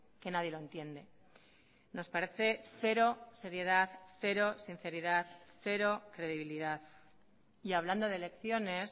que nadie lo entiende nos parece cero seriedad cero sinceridad cero credibilidad y hablando de elecciones